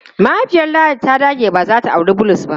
Mahaifiyar Ladi ta dage cewa ba za ta auri Bulus ba.